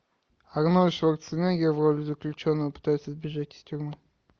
арнольд шварценеггер в роли заключенного пытается сбежать из тюрьмы